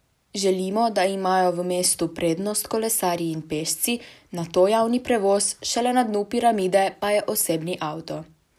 Želimo, da imajo v mestu prednost kolesarji in pešci, nato javni prevoz, šele na dnu piramide pa je osebni avto.